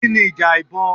Kí ni ìjà ìbọn?